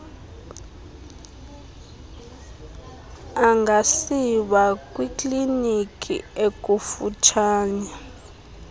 angasiwa kwikliniki ekufutshane